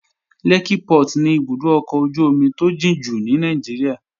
Lẹ́kkí Port ni ibùdó ọkọ̀ ojú-omi tó jìn jù ní Nàìjíríà